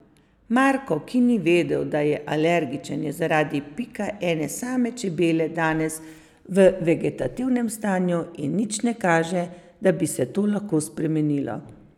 Marko, ki ni vedel, da je alergičen, je zaradi pika ene same čebele danes v vegetativnem stanju in nič ne kaže, da bi se to lahko spremenilo.